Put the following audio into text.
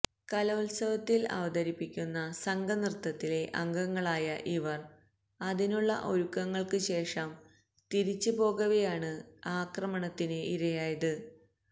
കലോത്സവത്തില് അവതരിപ്പിക്കുന്ന സംഘനൃത്തത്തിലെ അംഗങ്ങളായ ഇവര് അതിനുള്ള ഒരുക്കങ്ങള്ക്ക് ശേഷം തിരിച്ച് പോകവെയാണ് ആക്രമണത്തിന് ഇരയായത്